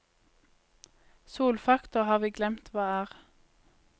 Solfaktor har vi glemt hva er.